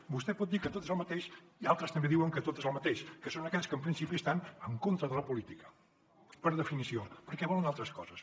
vostè pot dir que tot és el mateix i altres també diuen que tot és el mateix que són aquells que en principi estan en contra de la política per definició perquè volen altres coses